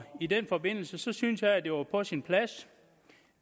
i den forbindelse synes jeg at det var på sin plads